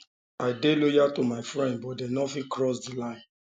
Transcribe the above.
i dey loyal to my friends but dem no fitt cross di line